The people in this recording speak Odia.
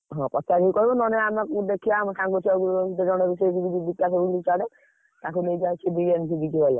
ପଚାରିକି କହିବ ନହେଲେ ଆମ କୋଉଠି ଦେଖିଆ କାଇଁ ଏତେ ତାଙ୍କୁ ନେଇକି ଆସିକି ।